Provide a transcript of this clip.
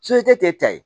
k'e ta ye